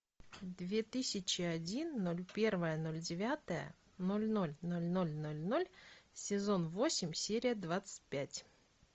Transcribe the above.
две тысячи один ноль первое ноль девятое ноль ноль ноль ноль ноль ноль сезон восемь серия двадцать пять